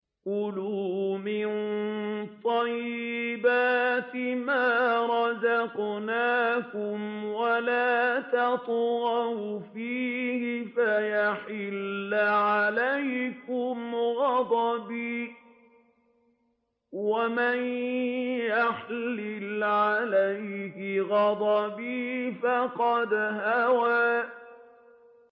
كُلُوا مِن طَيِّبَاتِ مَا رَزَقْنَاكُمْ وَلَا تَطْغَوْا فِيهِ فَيَحِلَّ عَلَيْكُمْ غَضَبِي ۖ وَمَن يَحْلِلْ عَلَيْهِ غَضَبِي فَقَدْ هَوَىٰ